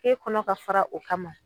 K'e kɔnɔ ka fara o kama